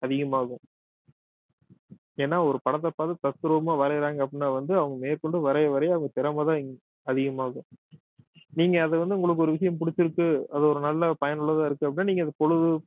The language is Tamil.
அதிகமாகும் ஏன்னா ஒரு படத்தை பார்த்து தத்ரூபமா வரையிறாங்க அப்படின்னா வந்து அவங்க மேற்கொண்டு வரைய வரைய அவங்க திறமைதான் அதிகமாகும் நீங்க அதை வந்து உங்களுக்கு ஒரு விஷயம் பிடிச்சிருக்கு அது ஒரு நல்ல பயனுள்ளதா இருக்கு அப்படின்னா நீங்க அதை பொழுது